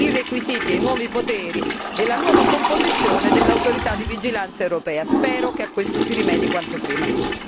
Non ci si è messi d'accordo su quali debbano essere i requisiti, i nuovi poteri e la nuova composizione dell'autorità di vigilanza europea. Spero che a questo si rimedi quanto prima.